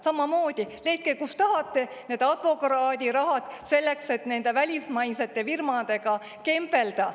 " Samamoodi, leidke, kust tahate, need advokaadirahad selleks, et nende välismaiste firmadega kembelda.